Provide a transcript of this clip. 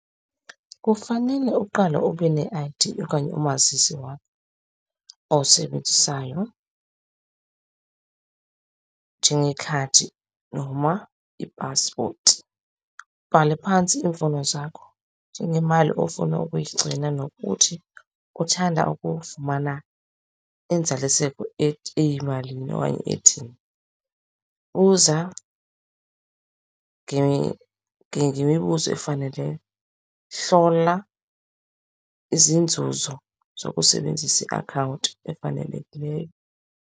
Kufanele uqale ube ne-I_D okanye umazisi wakho owusebenzisayo, njengekhadi noma ipasipoti. Ubhale phantsi iimfuno zakho, njengemali ofuna ukuyigcina nokuthi uthanda ukufumana inzaliseko eyimalini okanye ethini. Uza ngemibuzo efanele, hlola izinzuzo zokusebenzisa iakhawunti efanelekileyo.